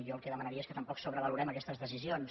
jo el que demanaria és que tampoc sobrevalorem aquestes decisions